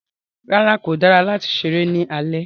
Rárá, kò dára láti ṣéré ní alẹ́